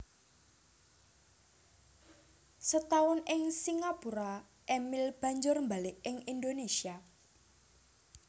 Setaun ing Singapura Emil banjur mbalik ing Indonesia